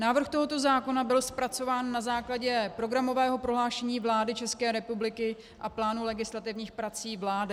Návrh tohoto zákona byl zpracován na základě programového prohlášení vlády České republiky a plánu legislativních prací vlády.